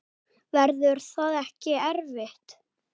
Verður það ekki erfitt?